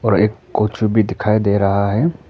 एक भी दिखाई दे रहा है।